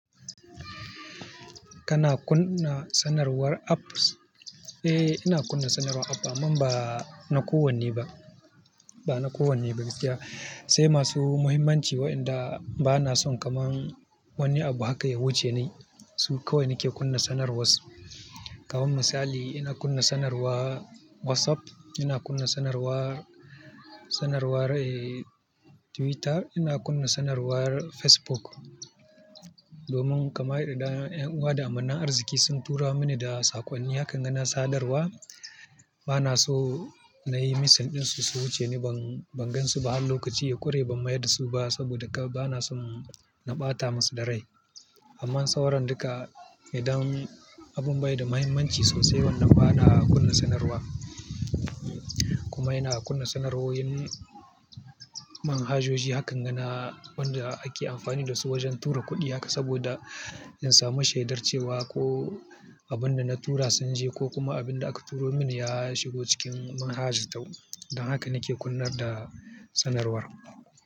Kana kunna sanarwar apps? Eh, ina kunna sanarwar app amma ba na ku wanne ba. Ba na ku wanne ba gaskiya. Sai masu muhimmanci wa'inda ba na son kamar wani abu haka ya wuce ni. Su kawai nake kunna sanarwarsu. Kaman misali, ina kunna sanarwar WhatsApp, ina kunna sanarwar, sanarwar, eh, Twitter, ina kunna sanarwar Facebook. Domin kamar idan 'yan uwa da amanar arziki sun tura mini da saƙonni, hakanga na sadarwa. Ba na so na yi missing ɗinsu, su wuce ni. Ban, ban gansui ba har lokaci ya ƙure ban mayar da su ba, saboda kan ba na son na ɓata masu da rai. Amma sauran duka, idan abun bai da muhimmanci sosai wannan ba na kunna sanarwa. Kuma ina kunna sanarwowin manhajoji hakanga na waɗanda ake amfani da su wajen tura kuɗi. Haka saboda in samu shaidar cewa ko abin da na tura sun je ko kuma abin da aka turo mini ya shigo cikin manhaja tau. Don haka nake kunna da sanarwar.